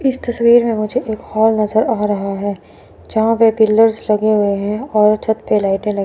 इस तस्वीर में मुझे एक हॉल नजर आ रहा है जहां पे पिलर्स लगे हुए हैं और छत पर लाइटे --